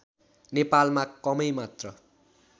नेपालमा कमै मात्र